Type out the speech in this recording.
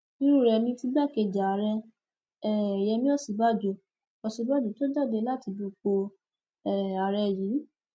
irú rẹ ni ti igbákejì ààrẹ um yẹmi òsínbàjò òsínbàjò tó jáde láti dupò um ààrẹ yìí